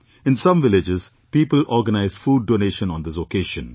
In some villages people organised food donation on this occasion